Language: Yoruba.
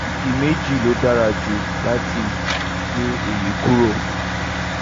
ìdí méjì ló fi dára jù láti gé èyí kúrò